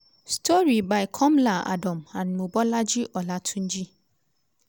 story by komla adom and mobolaji olatunji